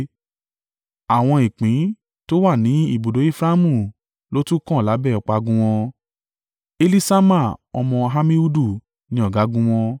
Àwọn ìpín tó wà ní ibùdó Efraimu ló tún kàn lábẹ́ ọ̀págun wọn. Eliṣama ọmọ Ammihudu ni ọ̀gágun wọn.